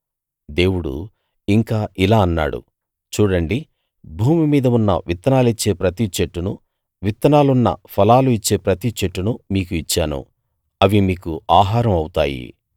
దేవుడు ఇంకా ఇలా అన్నాడు చూడండి భూమిమీద ఉన్న విత్తనాలిచ్చే ప్రతి చెట్టును విత్తనాలున్న ఫలాలు ఇచ్చే ప్రతి చెట్టును మీకు ఇచ్చాను అవి మీకు ఆహారం అవుతాయి